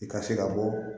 I ka se ka bɔ